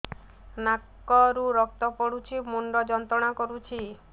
ନାକ ରୁ ରକ୍ତ ପଡ଼ୁଛି ମୁଣ୍ଡ ଯନ୍ତ୍ରଣା କରୁଛି